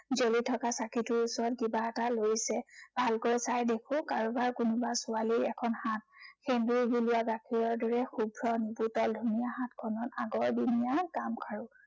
জ্বলি থকা চাঁকিটোৰ ওচৰত কিবা এটা লৰিছে। ভালকৈ চাই দেখো কাৰোবাৰ কোনোবা ছোৱালীৰ এখন হাত। সেন্দুৰবুলীয়া গাখীৰৰ দৰে শুভ্ৰ নিপুটল ধুনীয়া হাতখনত আগৰদিনীয়া গামখাৰু